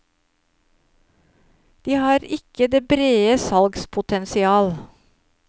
De har ikke det brede salgspotensial.